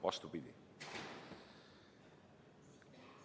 Vastupidi.